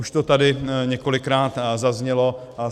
Už to tady několikrát zaznělo.